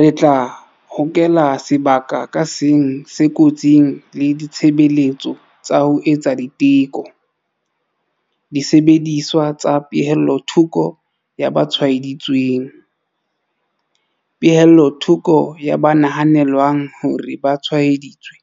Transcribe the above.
Re tla hokela sebaka ka seng se kotsing le ditshebeletso tsa ho etsa diteko, disebediswa tsa pehellothoko ya ba tshwae-ditsweng, pehellothoko ya ba nahanelwang hore ba tshwae-ditswe,